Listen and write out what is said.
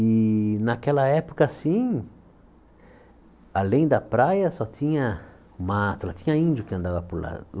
E naquela época, assim, além da praia só tinha mato lá, tinha índio que andava por lá.